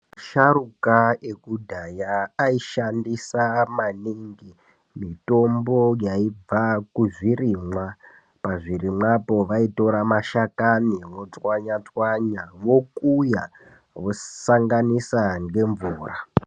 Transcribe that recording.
Vasharukwa ekudhara ashandisa maningi mitombo yaìbva kuzvirimwa, pazvirimwapo vaitora mashakani votswanya tswanya vokuya vosanganisa nemvura.